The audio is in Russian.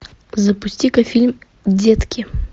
запусти ка фильм детки